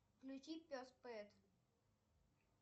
включи пес пет